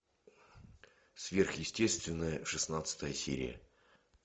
сверхъестественное шестнадцатая серия